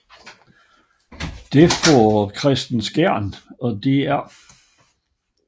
Det får Kristen Skjern og dr